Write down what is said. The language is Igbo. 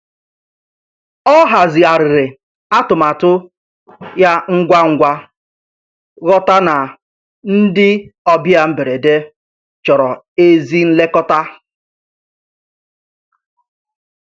Ọ hazigharịrị atụmatụ ya ngwa ngwa, ghọta na ndị ọbịa mberede chọrọ ezi nlekọta.